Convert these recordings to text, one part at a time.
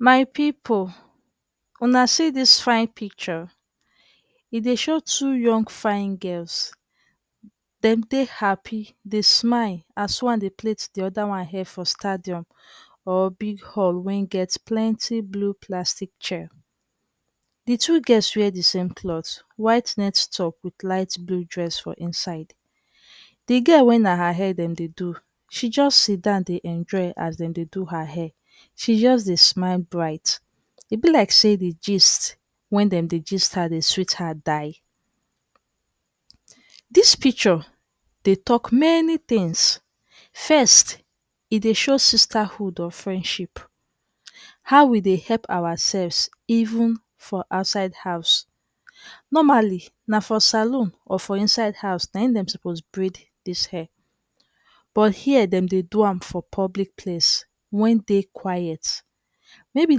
My pipu, una see dis fain picture. E dey show two young fine girls. Dem dey happi, dey smile as one dey plait di oda one hair for stadium or big hall wen get plenty blue plastic chair. Di two girls wear di same clot, white net top wit light blue dress for inside. Di girl wey na her hair dem dey do, she jus sidon dey enjoy as dem dey do her hair. She jus dey smile bright. E be lai say di gist wey dem dey gist her dey sweet her die. Dis picture dey tok many tins. Fest, e dey show sisterhood or friendship. How we dey epp awaseffs even for outside house. Normally, na for saloon or for inside house na en dem suppose braid dis hair. But here dem dey do am for public place wen dey quiet. Maybe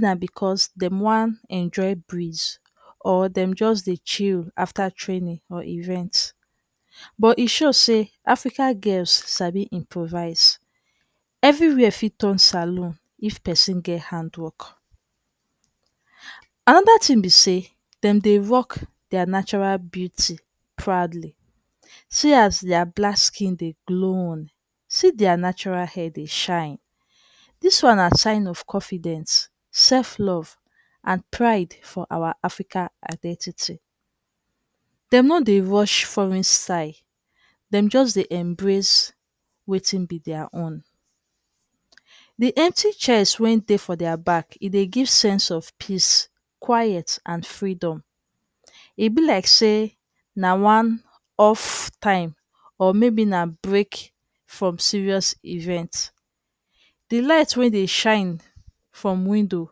na because dem wan enjoy breeze or dem jus dey chill after training or event. But e show say Africa girls sabi improvise. Evriwere fit turn saloon if pesin get handwork. Anoda tin be say, dem de rock dia natural beauty pradly. See as dia black skin dey gloon. See dia natural hair dey shine. Dis one na sign of confidence, self-love and pride for our Africa identity. Dem no dey rush foreign style. Dem just dey embrace wetin be dia own. Di empty chairs wen dey for dia back, e dey give sense of peace, quiet and freedom. E be laik say na one off time or maybe na break from serious event. Di light wey dey shine from window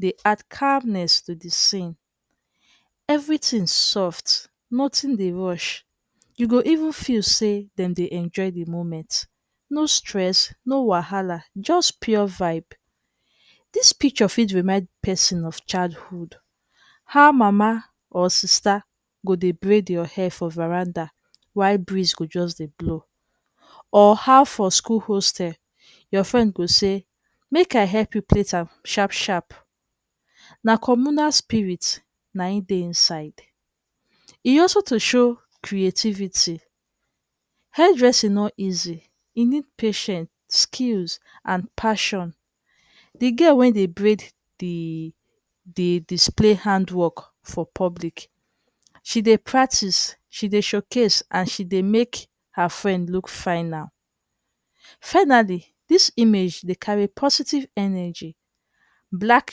dey add calmness to di scene. Evritin soft, noting dey rush. You go even feel say dem de enjoy di moment. No stress, no wahala, jus pure vibe. Dis picture fit remind pesin of childhood. How mama or sista go dey braid your hair for veranda while breeze go jus dey blow. Or how for school hostel, your frend go say, "Mek I hep you plait am sharp-sharp." Na communal spirit na en dey inside. E also to show creativity. Hair dressing no easy. E need patience, skills and passion. Di girl wey dey braid, di di display handwork for public. She dey practice, she dey showcase and she dey mek her friend look fina. Finally, dis image dey carry positive energy, black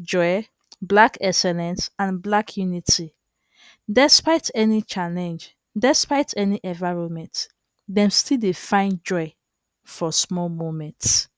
joy, black excellence and black unity. Despite any challenge, despite any environment, dem still dey find joy for sumol moment.